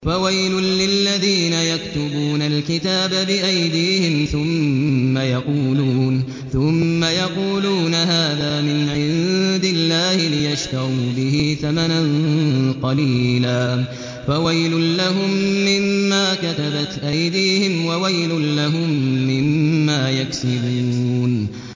فَوَيْلٌ لِّلَّذِينَ يَكْتُبُونَ الْكِتَابَ بِأَيْدِيهِمْ ثُمَّ يَقُولُونَ هَٰذَا مِنْ عِندِ اللَّهِ لِيَشْتَرُوا بِهِ ثَمَنًا قَلِيلًا ۖ فَوَيْلٌ لَّهُم مِّمَّا كَتَبَتْ أَيْدِيهِمْ وَوَيْلٌ لَّهُم مِّمَّا يَكْسِبُونَ